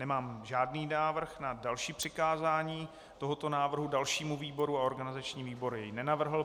Nemám žádný návrh na další přikázání tohoto návrhu dalšímu výboru a organizační výbor jej nenavrhl.